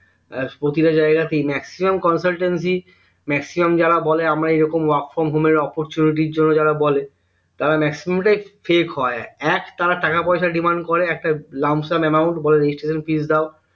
এর প্রতিটা জায়গাতেই maximum consultancy maximum যারা বলে আমরা এইরকম work from home এর opportunity জন্য যারা বলে তারা maximum টাই Fake হয় এক তারা টাকা পয়সা demand করে একটা লামসাম amount বলে registration fees দেও